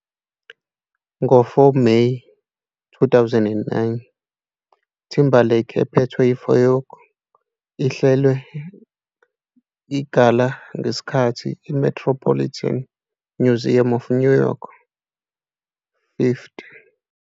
Ngo-4 May, 2009, Timberlake phethwe Vogue ihlelwe igala ngesikhathi iMetropolitan Museum of New York. 50